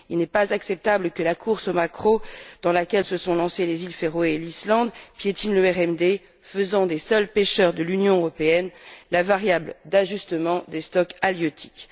Il n'est pas acceptable que la course au maquereau dans laquelle se sont lancées les îles Féroé et l'Islande piétine le RMD, faisant des seuls pêcheurs de l'Union européenne la seule variable d'ajustement des stocks halieutiques.